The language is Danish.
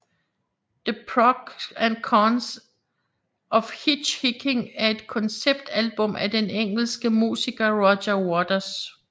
The Pros and Cons of Hitch Hiking er et konceptalbum af den engelske musiker Roger Waters